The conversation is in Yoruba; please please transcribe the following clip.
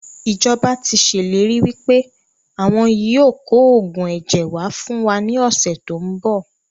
Ìjọba tíì ṣe ìlérí wípé àwọn yìí ó kò oògùn ẹ̀jẹ̀ wá fún wa ní ọ̀sẹ̀ tòun bọ̀